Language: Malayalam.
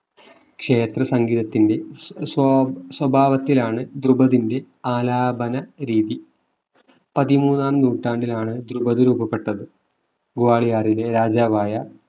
ക്ഷേത്ര സംഗീതത്തിന്റെ സ്സ്വ സ്വഭാവത്തിലാണ് ദ്രുപതിന്റെ ആലാപന രീതി പതിമൂന്നാം നൂറ്റാണ്ടിലാണ് ദ്രുപത് രൂപപ്പെട്ടത് ഗ്വാളിയാറിലെ രാജാവായ